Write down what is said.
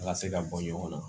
A ka se ka bɔ ɲɔgɔn na